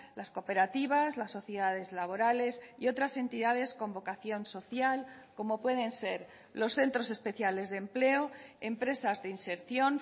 las cooperativas las sociedades laborales y otras entidades con vocación social como pueden ser los centros especiales de empleo empresas de inserción